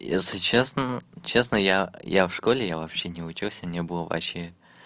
если честно честно я я в школе я вообще не учился мне было вообще